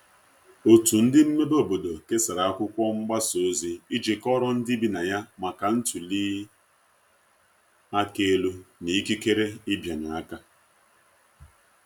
otu ndi mmebe obodo kesara akwụkwo mgbasa ozi iji kọoro ndi ibi na ya maka ntuli aka elu na ikekere ịbịanye aka